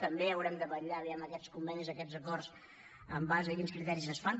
també haurem de vetllar vejam aquests convenis aquests acords en base a quins criteris es fan